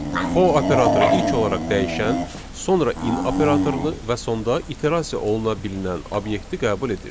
For operatoru ilk olaraq dəyişən, sonra in operatorunu və sonda iterasiya oluna bilinən obyekti qəbul edir.